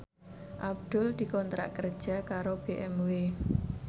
Abdul dikontrak kerja karo BMW